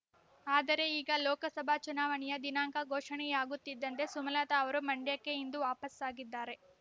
ಆದರೆ ಈಗ ಲೋಕಸಭಾ ಚುನಾವಣೆಯ ದಿನಾಂಕ ಘೋಷಣೆಯಾಗುತ್ತಿದ್ದಂತೆ ಸುಮಲತಾ ಅವರು ಮಂಡ್ಯಕ್ಕೆ ಇಂದು ವಾಪಸ್ಸಾಗಿದ್ದಾರೆ